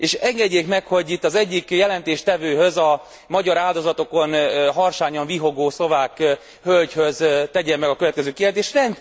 És engedjék meg, hogy itt az egyik jelentéstevőhöz, a magyar áldozatokon harsányan vihogó szlovák hölgyhöz tegyem meg a következő kérdést.